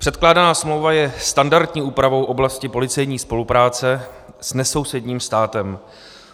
Předkládaná smlouva je standardní úpravou oblasti policejní spolupráce s nesousedním státem.